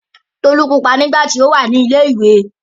Tolú pupa nígbà tí ó wà ní ilé-ìwé.